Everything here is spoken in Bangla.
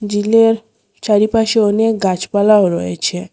ঝিলের চারিপাশে অনেক গাছপালাও রয়েছে।